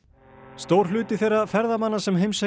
stór hluti þeirra ferðamanna sem heimsækja